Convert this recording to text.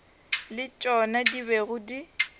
le tšona di bego di